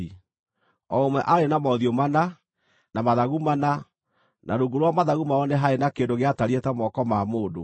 O ũmwe aarĩ na mothiũ mana, na mathagu mana, na rungu rwa mathagu mao nĩ haarĩ na kĩndũ gĩatariĩ ta moko ma mũndũ.